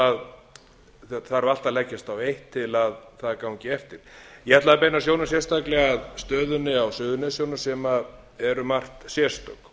þarf allt að leggjast á eitt til að það gangi eftir ég ætlaði að beina sjónum sérstaklega að stöðunni á suðurnesjunum sem er um margt sérstök